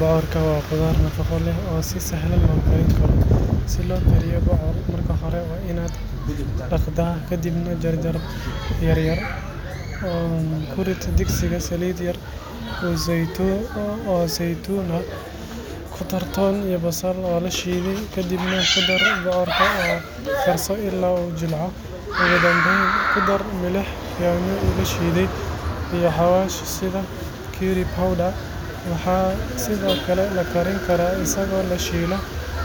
Bocorka waa khudaar nafaqo leh oo si sahlan loo karin karo. Si loo kariyo bocor, marka hore waa inaad dhaqdaa, kadibna jarjar jarjar yar yar. Ku rid digsiga saliid yar oo saytuun ah, ku dar toon iyo basal la shiiday, kadibna ku dar bocorka oo karso illaa uu jilco, ugu dambeyn ku dar milix, yaanyo la shiiday, iyo xawaash sida curry powder. Waxaa sidoo kale la karin karaa isagoo la shiilo